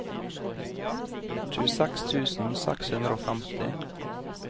tjueseks tusen seks hundre og femti